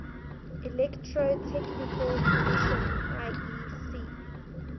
electrotechnical commission iec